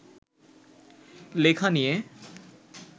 লেখা নিয়ে